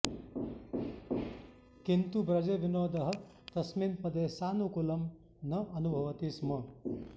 किन्तु ब्रजविनोदः तस्मिन् पदे सानुकूलं न अनुभवति स्म